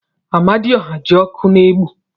Amadioha ji oku na-egbu.